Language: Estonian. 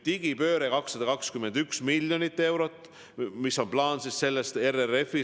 Digipöördeks on 221 miljonit eurot ja see on üks plaan RRF-i puhul.